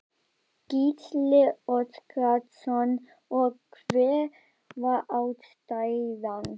Gísli Óskarsson: Og hver var ástæðan?